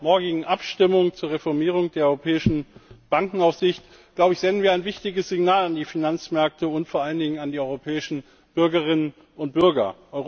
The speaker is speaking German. Mit der morgigen Abstimmung zur Reformierung der europäischen Bankenaufsicht senden wir ein wichtiges Signal an die Finanzmärkte und vor allen Dingen an die europäischen Bürgerinnen und Bürger.